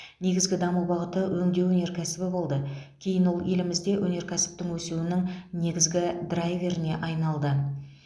негізгі даму бағыты өңдеу өнеркәсібі болды кейін ол елімізде өнеркәсіптің өсуінің негізгі драйверіне айналды